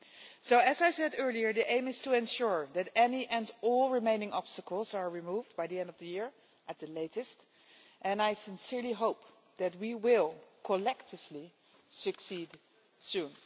So, as I said earlier, the aim is to ensure that any and all remaining obstacles are removed by the end of the year at the latest, and I sincerely hope that we will collectively succeed soon.